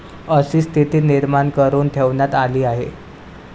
अशी स्थिती निर्माण करून ठेवण्यात आली आहे.